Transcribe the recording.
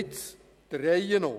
Der Reihe nach.